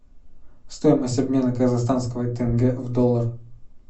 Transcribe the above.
стоимость обмена казахстанского тенге в доллар